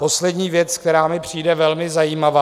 Poslední věc, která mi přijde velmi zajímavá.